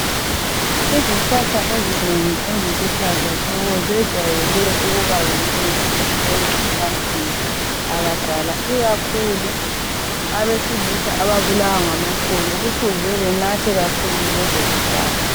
izihlahla ezinengi eziluhlaza tshoko zejwayele ukuba yimithi esebenza ebantwini abadala ikakhulu abesilisa ababulawa ngamaqolo kufuze benathe kakhulu lezo zihlahla